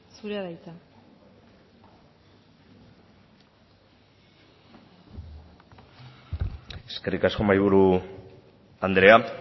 zurea da hitza eskerrik asko mahaiburu andrea